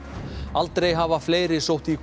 aldrei hafa fleiri sótt í